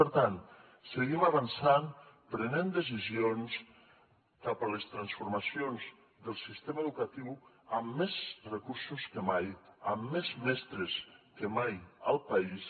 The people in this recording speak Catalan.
per tant seguim avançant prenent decisions cap a les transformacions del sistema educatiu amb més recursos que mai amb més mestres que mai al país